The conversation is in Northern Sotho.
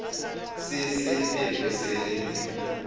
se se bego se le